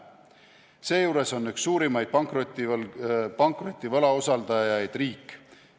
Seejuures on üks suurimaid pankroti võlausaldajaid riik.